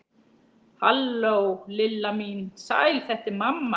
Halló, Lilla mín, sæl þetta er mamma.